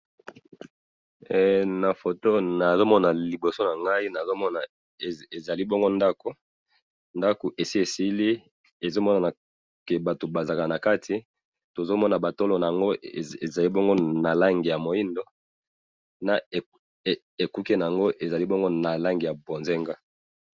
na photo nazo mona ezali bongo ndaku esi esili ezomona ke batu bazalaka na kati tozo mona ba tolo nango ezali bongo na langi ya moido na ekuke nango ezali bongo na langi ya bozenga